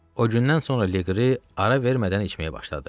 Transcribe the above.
O gündən sonra Leqri ara vermədən içməyə başladı.